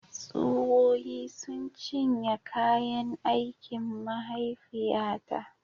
Tsuwoyi sun cinye kayan aikin mahaifiyata